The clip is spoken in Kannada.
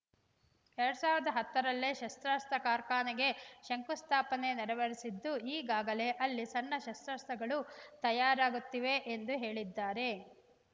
ಎರಡ್ ಸಾವಿರದ ಹತ್ತರಲ್ಲೇ ಶಸ್ತ್ರಾಸ್ತ್ರ ಕಾರ್ಖಾನೆಗೆ ಶಂಕು ಸ್ಥಾಪನೆ ನೆರವೇರಿಸಿದ್ದು ಈಗಾಗಲೇ ಅಲ್ಲಿ ಸಣ್ಣ ಶಸ್ತ್ರಾಸ್ತ್ರಗಳು ತಯಾರಾಗುತ್ತಿವೆ ಎಂದು ಹೇಳಿದ್ದಾರೆ